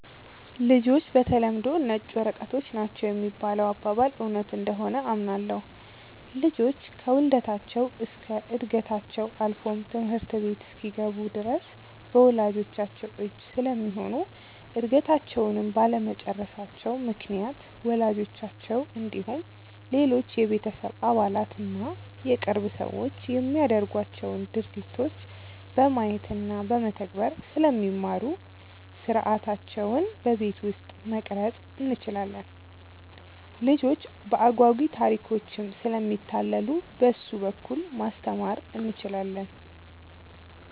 ''ልጆች በተለምዶ ነጭ ወረቀቶች ናቸው ''የሚባለው አባባል እውነት እንደሆነ አምናለሁ። ልጆች ከውልደታቸው እስከ ዕድገታቸው አልፎም ትምህርት ቤት እስኪገቡ ድረስ በወላጅቻቸው እጅ ስለሚሆኑ እድገታቸውንም ባለመጨረሳቸው ምክንያት ወላጆቻቸው እንዲሁም ሌሎች የቤተሰብ አባላት እና የቅርብ ሰዎች የሚያደርጓቸውን ድርጊቶች በማየት እና በመተግበር ስለሚማሩ ሥርዓታቸውን በቤት ውስጥ መቅረፅ እንችላለን። ልጆች በአጓጊ ታሪኮችም ስለሚታለሉ በእሱ በኩል ማስተማር እንችላለን።